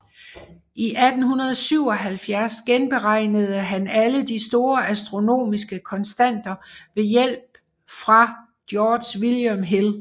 I 1877 genberegnede han alle de store astronomiske konstanter med hjælp fra George William Hill